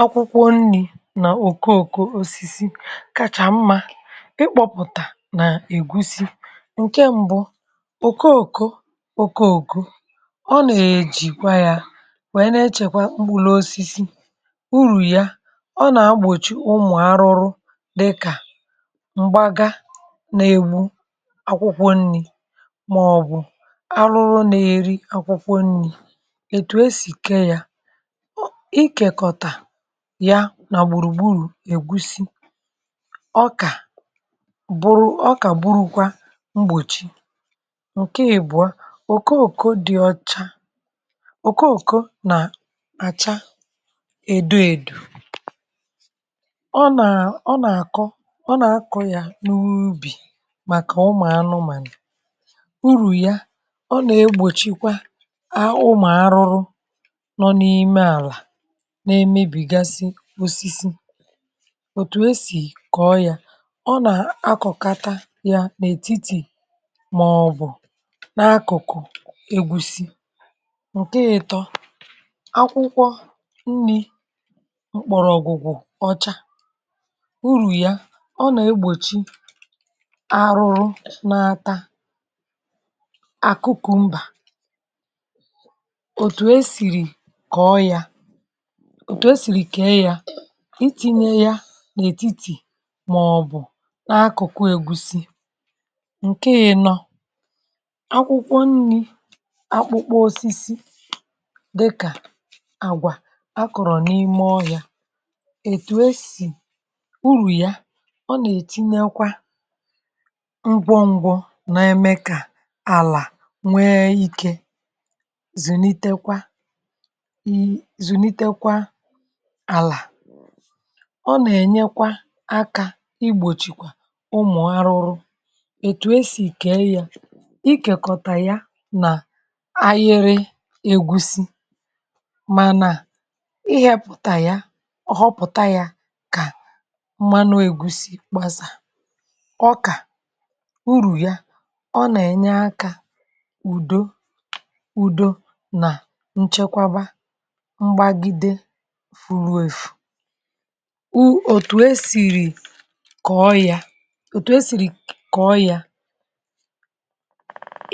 akwụkwọ nni̇ nà òkòòkò osisi, kacha mmȧ ị kpọ̇pụ̀tà nà ègusi. ǹke mbụ, òkòòkò òkòòkò, ọ nà-èjìkwa yȧ, nwèe na-echèkwa mkpụrụ osisi. urù ya, ọ nà-agbòchi ụmụ̀ arụrụ dịkà m̀gbaga, nà-ègbụ akwụkwọ nni̇, màọ̀bụ̀ arụrụ nà-èri akwụkwọ nni̇. ètù e sì ke yȧ, ya nà gbùrù gburù ègusi, ọkà bụ̀rụ̀ ọkà gburu, kwa mgbòchi ǹke ìbụ̀a. òkoòko dị̇ ọcha, òkoòko nà-àcha edo edò. ọ nà àkọ, ọ nà àkọ ya n’ubì, màkà ụmụ̀anụ, mà nà urù ya, ọ nà egbòchikwa a, ụmụ̀anụrụ n’eme bìgasị osisi. òtù esì kọ̀ọ ya — ọ nà akọ̀kata ya n’ètitì, màọbụ̀ n’akụ̀kụ̀ egwùsi, ǹke ịtọ akwụkwọ nri mkpọ̀rọ̀gwụ̀gwụ̀ ọcha. urù ya, ọ nà-egbòchi arụ̇rụ̇ n’ata àkụkụ̀ mbà. òtù esìrì kọ̀ọ ya, itinye ya n’ètitì, màọ̀bụ̀ n’akụ̀kụ ègusi ǹke yȧ nọ akwụkwọ nni̇. akpụkpọ osisi dịkà àgwà akọ̀rọ̀ n’ime ọ yȧ. ètù esì urù ya — ọ nà èchinėkwa mbọ̇ ǹgwụ̇, n’eme kà àlà nwee ikė, zùnitekwa. ọ nà-ènyeakwa akȧ, igbòchìkwà ụmụ̀ arụrụ. ètù esì ìkele yȧ, i kèkọta ya nà ayịrị ègusi, manà ihepùtà ya ọhọpụ̀ta yȧ, kà mmanụ ègusi gbazȧ ọkà. urù ya, ọ nà-ènyeakȧ ùdo ùdo nà nchekwaba furu wefù wu. òtù e sìrì kọ̀ọ yȧ, òtù e sìrì kọ̀ọ yȧ,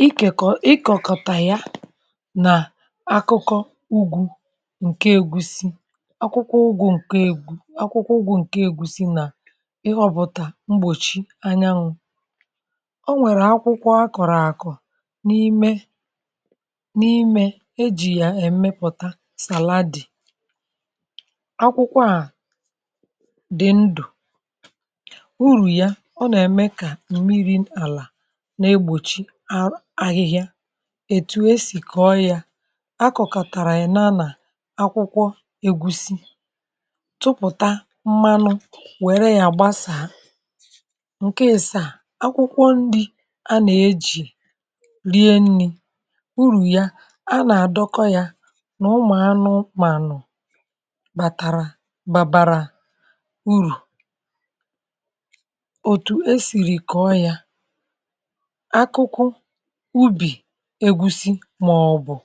ikèkọ̀, ịkọ̀kọ̀tà ya nà akụkọ ugwù ǹke egusi. akwụkwọ ụgwụ̇ ǹke egwu̇si nà ịhọ̇ bụ̀tà mgbòchi anyanwụ̇. o nwèrè akwụkwọ a kọ̀rọ̀ àkọ̀ n’ime n’imė, ejì yà èmepùta sàla dì akwụkwọ à dị ndụ̀. urù ya, ọ nà-ème kà mmiri àlà na-egbòchi ahụ ahịhịa. ètù esì kọ̀ọ ya, akọ̀kàtàrà ị̀ naanà akwụkwọ ègusi, tupùta mmanụ, wère ya gbasàa. ǹke esì a, akwụkwọ ndị a nà-ejì rie nni̇. urù ya, a nà-àdọkọ ya nà ụmụ̀ anụ mànụ̀, bàtàrà babara urù. òtù e siri kọ̀ọ ya, akụkụ ubì egusi, màọbụ̀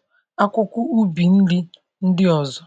akụkụ ubì ndị ndị ọ̀zọ̀.